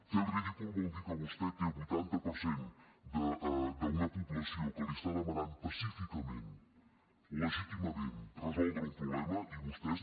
fer el ridícul vol dir que vostè té un vuitanta per cent d’una població que li està demanant pacíficament legítimament resoldre un problema i vostès